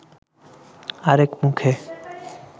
আরেক মুখে